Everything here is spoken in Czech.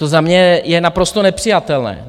To za mě je naprosto nepřijatelné.